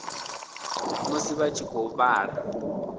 musi vha tshi khou vhala